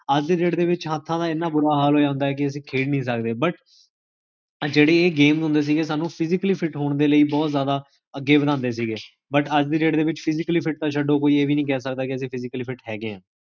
ਅੱਜ ਦੀ date ਦੇ ਵਿੱਚ ਹਥਾਂ ਦਾ ਇੰਨਾ ਬੁਰਾ ਹਾਲ ਹੋਇਆ ਹੁੰਦਾ ਹੈ ਕੀ ਅਸੀ ਖੇਡ ਨਹੀ ਸਕਦੇ But, ਆ ਜੇਹੜੀ ਇਹ game ਹੁੰਦੇ ਸੀਗੇ ਸਾਨੂ physically fit ਹੋਣ ਦੇ ਲਈ ਬੋਹੋਤ ਜਾਦਾ ਅੱਗੇ ਵ੍ਦਾਂਦੇ ਸੀਗੇ But, ਅੱਜ ਦੀ date ਦੇ ਵਿੱਚ physically ਫਿਟ ਤਾ ਛੱਡੋ, ਕੋਈ ਇਹ ਵੀ ਨੀ ਕਹ ਸਕਦਾ ਕੀ ਅਸੀ physically fit ਹੈਗੇ ਹਾਂ